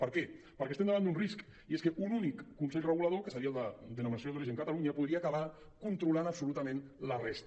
per què perquè estem davant d’un risc i és que un únic consell regulador que seria el de denominació d’origen catalunya podria acabar controlant absolutament la resta